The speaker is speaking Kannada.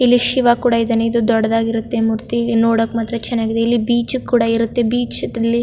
ಇಲ್ಲಿ ಶಿವ್ ಕೂಡ ಇದಾನೆ ಇದು ದೊಡ್ಡದಾಗಿರುತ್ತೆ ಮೂರ್ತಿ ನೋಡಕ್ ಮಾತ್ರ ಚನ್ನಾಗಿದೆ ಇಲ್ಲಿ ಬೀಚ್ ಕೂಡ ಇರುತ್ತೆ ಬೀಚ್ ದಲ್ಲಿ --